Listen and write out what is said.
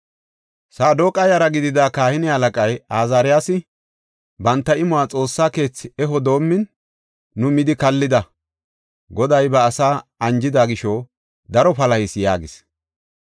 Saadoqa yara gidida kahine halaqay Azaariyasi, “Banta imuwa Xoossa keethi eho doomin nu midi kallida. Goday ba asaa anjida gisho daro palahis” yaagis.